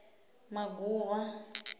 maguvha